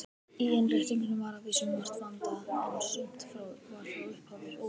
Í innréttingunni var að vísu margt vandað, en sumt var frá upphafi ófullkomið.